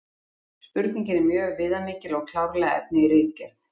Spurningin er mjög viðamikil og er klárlega efni í ritgerð.